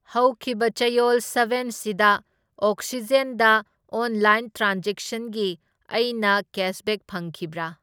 ꯍꯧꯈꯤꯕ ꯆꯌꯣꯜ ꯁꯕꯦꯟꯁꯤꯗ ꯑꯣꯛꯁꯤꯖꯦꯟꯗ ꯑꯣꯟꯂꯥꯏꯟ ꯇ꯭ꯔꯥꯟꯖꯦꯛꯁꯟꯒꯤ ꯑꯩꯅ ꯀꯦꯁꯕꯦꯛ ꯐꯪꯈꯤꯕ꯭ꯔꯥ?